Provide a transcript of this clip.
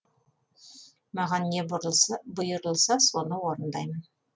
маған не бұйырылса соны орындаймын